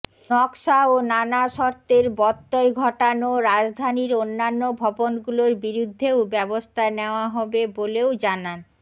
নকশা ও নানা শর্তের ব্যত্যয় ঘটানো রাজধানীর অন্যান্য ভবনগুলোর বিরুদ্ধেও ব্যবস্থা নেওয়া হবে বলেও জানান